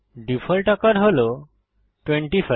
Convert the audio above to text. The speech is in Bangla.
ডিফল্ট আকার হল 25